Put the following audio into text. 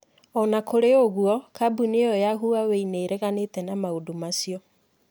O na kũrĩ ũguo, kambuni iyo ya Huawei nĩ ĩreganĩte na maũndũ macio.